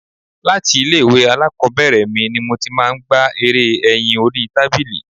Láti ilé ìwé alákòbẹ̀rẹ̀ mi ni mo máa ń gbá eré ẹyin orí tábìlì.